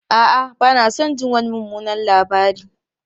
A'a, ba na son jin wani mummunan labari.